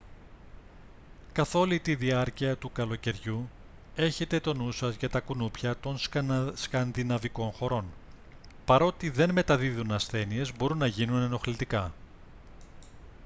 καθ' όλη τη διάρκεια του καλοκαιριού έχετε τον νου σας για τα κουνούπια των σκανδιναβικών χωρών παρότι δεν μεταδίδουν ασθένειες μπορούν να γίνουν ενοχλητικά